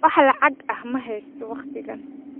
Wax lacag ah ma haysto wakhtigan